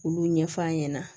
Olu ɲɛf'a ɲɛna